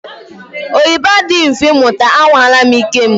Oyibo adịghị mfe muta, à nwala m ike m